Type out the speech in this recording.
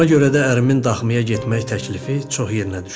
Ona görə də ərimin daxmaya getmək təklifi çox yerinə düşdü.